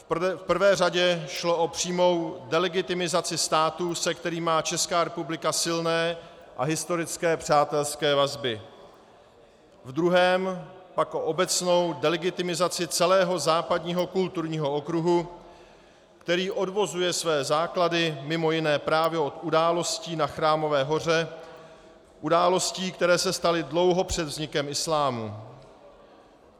V prvé řadě šlo o přímou delegitimizaci státu, se kterým má Česká republika silné a historické přátelské vazby, v druhé pak o obecnou delegitimizaci celého západního kulturního okruhu, který odvozuje své základy mimo jiné právě od událostí na Chrámové hoře, událostí, které se staly dlouho před vznikem islámu.